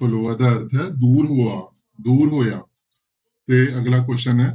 ਪਲੋਆ ਦਾ ਅਰਥ ਹੈ ਦੂਰ ਹੋਆ, ਦੂਰ ਹੋਇਆ, ਤੇ ਅਗਲਾ question ਹੈ